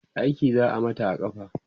aiki za'a Mata a kafa